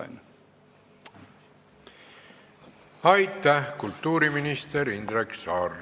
Aitäh, kultuuriminister Indrek Saar!